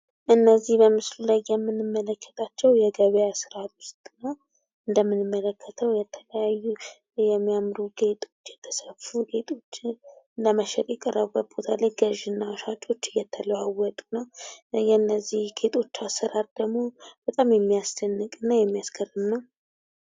እነዚህ በምስሉ ላይ የምንመለከታቸው የገበያ ስርአት ውስጥ ነው እንደምንመለከተው የተለያዩ የሚያምሩ ጌጦች የተሰሩ ጌጦችን ለመሸጥ የቀረበ ቦታ ላይ ገዥና ሻጮች እየተለዋወጡ ነው። የነዚህ ጌጦች አሰራር ደግሞ በጣም የሚያስደንቅ እና የሚያስገርም ነው።